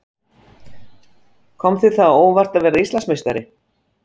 Kom þér það á óvart að verða Íslandsmeistari?